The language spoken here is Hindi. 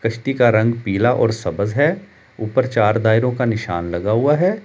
कश्ती का रंग पीला और सबज है ऊपर चार दायरों का निशान लगा हुआ है।